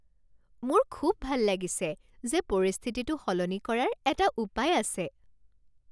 মোৰ খুব ভাল লাগিছে যে পৰিস্থিতিটো সলনি কৰাৰ এটা উপায় আছে